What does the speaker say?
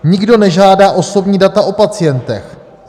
"Nikdo nežádá osobní data o pacientech.